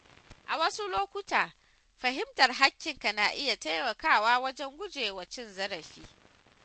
A wasu lokuta, fahimtar haƙƙinka na iya taimakawa wajen gujewa cin zarafi.